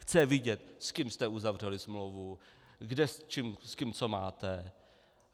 Chtějí vidět, s kým jste uzavřeli smlouvu, s kým co máte.